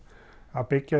að byggja